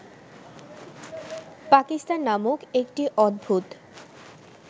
পাকিস্তান নামক একটি অদ্ভুত